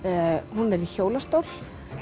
hún er í hjólastól